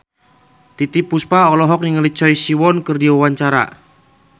Titiek Puspa olohok ningali Choi Siwon keur diwawancara